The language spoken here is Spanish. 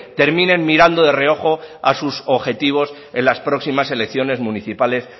terminen mirando de reojo a sus objetivos en las próximas elecciones municipales